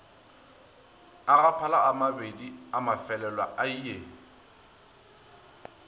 a gaphala amabedi amafelelo ie